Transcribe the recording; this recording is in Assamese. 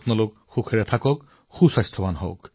সুখী হওক স্বাস্থ্যৱান হওক আৰু আনন্দিত হৈ থাকক